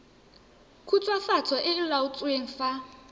khutswafatso e e laotsweng fa